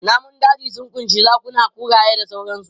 Namun daji sun ƙunshi zakuna, kuraye da sauransu.